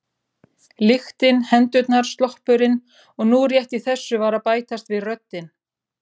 Lyktin, hendurnar, sloppurinn og nú rétt í þessu var að bætast við röddin